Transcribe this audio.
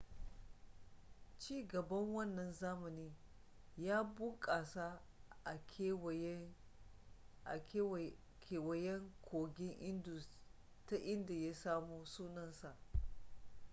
ci gaban wannan zamani ya bunkasa a kewayen kogin indus ta inda ya samo sunansa